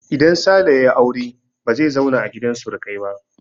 Idan Sale ya yi aure ba zai zauna a gidan surukai ba.